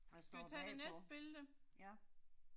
Hvad står bagpå? Ja